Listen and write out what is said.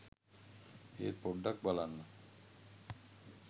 ඒත් පොඩ්ඩක් බලන්න